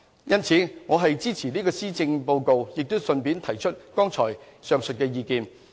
因此，我是支持這個施政報告，並順帶提出上述意見。